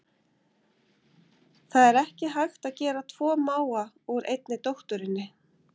Það er ekki hægt að gera tvo mága úr einni dótturinni.